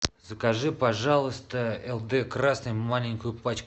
закажи пожалуйста лд красный маленькую пачку